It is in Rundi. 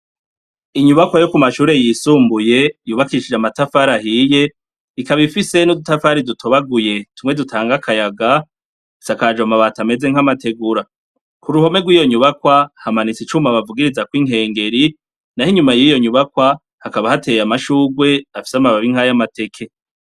Inyubakwa ya amashure yisumbuye yubakishije amatafari ahiye, ikaba ifise n'udutafari dutobaguye tumwe dutanga akayaga, isakaje amabati amez nkamatigura kuruhome rwiyonyubakwa hamanitse icuma bavugiritsaho inkengeri nayo inyuma yiyonkubakwa hakaba hateye amashurwe afise amababi nkaya mateke.